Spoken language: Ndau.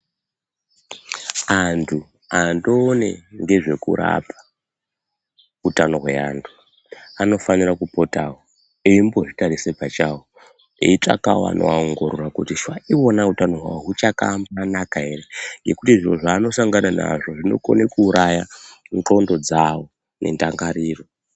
Antu andoone ngezvekurapa utano hweantu, anofanira kupotawo eimbozvitarise pachawo eitsvakawo anoaongorora kuti zvaiona utano hwawo huchakanaka ere. Ngekuti zviro zvaanosangana nazvo zvinokone kuuraya ndxondo dzawo nendangariro.